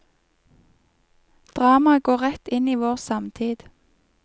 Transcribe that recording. Dramaet går rett inn i vår samtid.